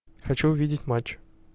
хочу увидеть матч